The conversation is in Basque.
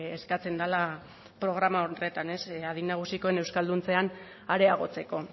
eskatzen dela programa horretan adin nagusikoen euskalduntzean areagotzeko